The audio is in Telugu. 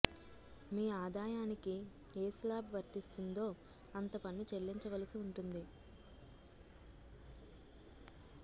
మీ ఆదాయానికి ఏ శ్లాబు వర్తిస్తుందో అంత పన్ను చెల్లించవలసి ఉంటుంది